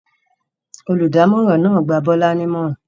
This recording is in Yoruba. Olùdámọ̀ràn náà dá Bọ́lá nímọ̀ràn.